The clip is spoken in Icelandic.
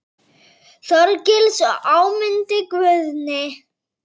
Þorgils og Ámundi Guðni.